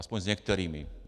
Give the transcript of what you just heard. Aspoň s některými.